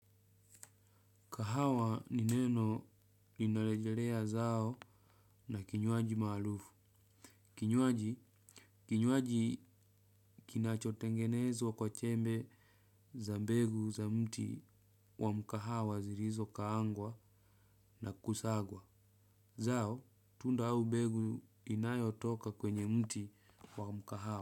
Kahawa ni neno linalejelea zao na kinywaji maalufu. Kinywaji, kinywaji kinachotengenezwa kwa chembe za mbegu za mti wa mkahawa zirizokaangwa na kusagwa. Zao, tunda au begu inayotoka kwenye mti wa mkahawa.